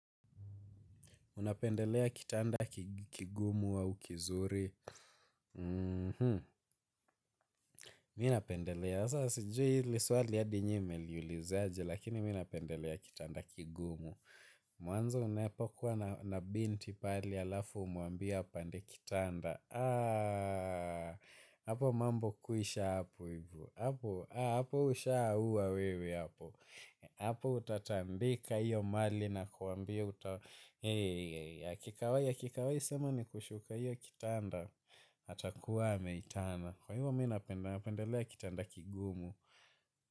Unapendelea kitanda kigumu au kizuri Mi napendelea. Sa sijui ili swali adi nyi mmeliulizaje. Lakini mi napendelea kitanda kigumu. Mwanzo unapokuwa na binti pale alafu umwambie apande kitanda Aaaa Apo mambo kwisha apo ivo. Apo ushaua wewe. Apo utatambika iyo mali nakwambia uta akikawai akikawai sema ni kushuka iyo kitanda atakuwa ameitana kwa hivyo mina napendelea kitanda kigumu.